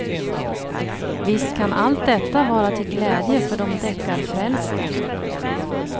Visst kan allt detta vara till glädje för de deckarfrälste.